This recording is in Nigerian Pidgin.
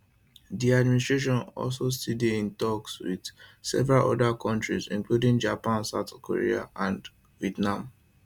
di administration also still dey in toks wit several oda kontris including japan south korea and vietnam